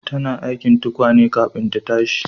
Tana aikin tukwane kafin ta tashi